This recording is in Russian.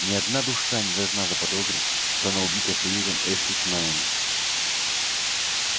ни одна душа не должна заподозрить что она убита союзом эшли с мелани